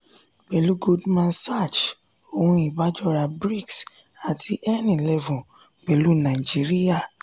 pẹ̀lú goldman sachs ohun ìbájora brics àti n-eleven pẹ̀lú naijiriya.